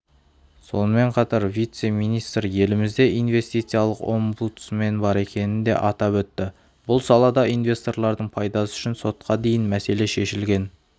сонымен қатар вице-министр елімізде инвестицилық омбудсмен бар екенін де атап өтті бұл салада инвесторлардың пайдасы үшін сотқа дейін мәселе шешілген